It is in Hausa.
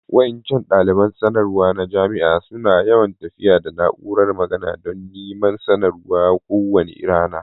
Wa'incan dalibain sanarwa jama'a suna yawan tafiya da na'úrar magana dan niman sanarwa ko wani rana.